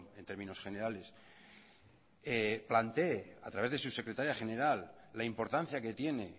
en términos generales plantee a través de su secretaria general la importancia que tiene